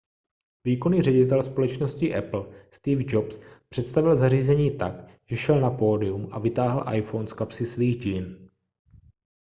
výkonný ředitel společnosti apple steve jobs představil zařízení tak že šel na pódium a vytáhl iphone z kapsy svých džín